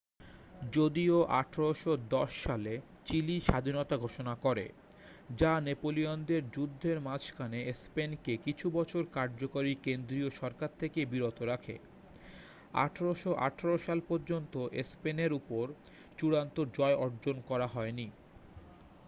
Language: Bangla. যদিও ১৮১০ সালে চিলি স্বাধীনতা ঘোষণা করে যা নেপোলিয়নের যুদ্ধের মাঝখানে স্পেন কে কিছু বছর কার্যকরী কেন্দ্রীয় সরকার থেকে বিরত রাখে ১৮১৮ সাল পর্যন্ত স্পেনের উপর চূড়ান্ত জয় অর্জন করা হয়নি।